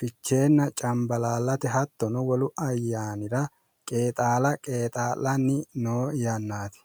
ficheenna cambalaallate hattono wolu ayyaanira qeexaala qeexaa'lanni noo yannaati